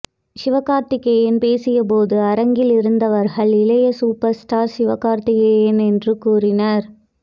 சிவ கார்த்திகேயன் பேசியபோது அரங்கில் இருந்தவர்கள் இளைய சூப்பர் ஸ்டார் சிவகார்த்திகேயன் என்று கூறினர்